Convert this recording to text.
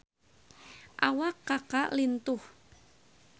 Awak Kaka lintuh